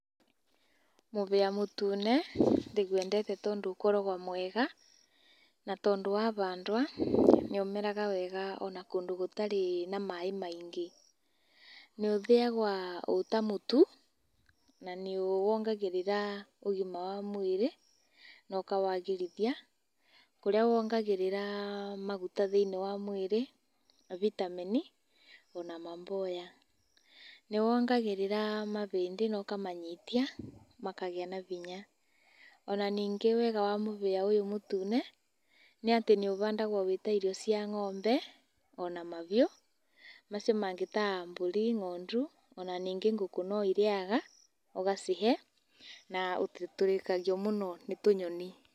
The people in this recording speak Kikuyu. Mũhĩa mũtune ndĩwendete tondũ ũkoragwo mwega na tondũ wa handwo nĩũmeraga wega ona kũndũ gũtarĩ na maaĩ maingĩ. Nĩũthĩyagwo wĩ ta mũtu na nĩ wongagĩrĩra ũgima wa mwĩrĩ na ũkawagĩrithia. Kũrĩa wongagĩrĩra maguta thĩinĩ wa mwĩrĩ, bitameni ona maboya. Nĩwongagĩrĩra mahĩndĩ ona ũkamanyitia makagĩa na hinya. Ona ningĩ wega wa mũhĩa ũyũ mũtune nĩ atĩ nĩũhandagwo wĩta irio cia ng'ombe ona mahiũ, macio mangĩ ta mbũri, ng'ondu ona ningĩ ngũkũ no irĩyaga ũgacihe na ndũtũrĩkagio mũno nĩ tũnyoni.